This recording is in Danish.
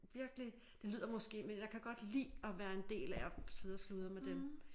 Virkelig det lyder måske men jeg kan godt lide at være en del af at sidde og sludre med dem